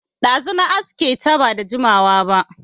Ɗazu na aske ta, ba da jimawa ba